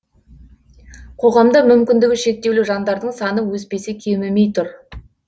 қоғамда мүмкіндігі шектеулі жандардың саны өспесе кемімей тұр